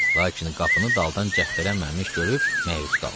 Lakin qapını daldan cəftələnməmiş görüb məyus qaldı.